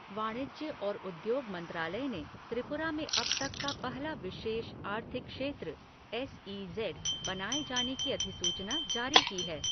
वाणिज्य और उद्योग मंत्रालय ने त्रिुपरा में अब तक का पहला विशेष आर्थिक क्षेत्र एस ई ज़ेड बनाये जाने की अधिसूचना जारी की है।